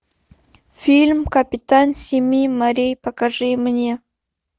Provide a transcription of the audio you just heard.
фильм капитан семи морей покажи мне